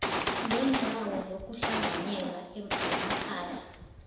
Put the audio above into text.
ngeendawo zokuhlanganyela zemakhaya